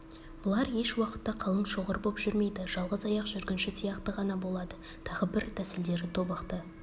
бұлар еш уақытта қалың шоғыр боп жүрмейді жалғыз аяқ жүргінші сияқты ғана болады тағы бір тәсілдері тобықты